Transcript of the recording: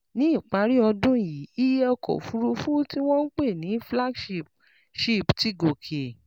Ní ìparí ọdún yìí, iye ọkọ̀ òfuurufú tí wọ́n ń pè ní flagship ship ti gòkè